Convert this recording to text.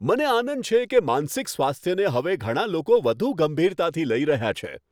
મને આનંદ છે કે માનસિક સ્વાસ્થ્યને હવે ઘણા લોકો વધુ ગંભીરતાથી લઈ રહ્યા છે.